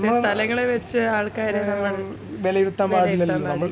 നമ്മള് മ്മ് വിലയിരുത്താൻ പാടില്ലാലോ